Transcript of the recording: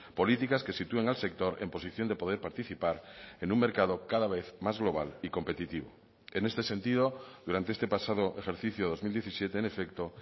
políticas que sitúen al sector en posición de poder participar en un mercado cada vez más global y competitivo en este sentido durante este pasado ejercicio dos mil diecisiete en efecto